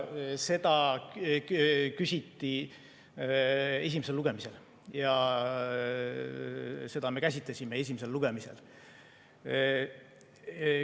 Seda küsiti esimesel lugemisel ja seda me käsitlesime esimesel lugemisel.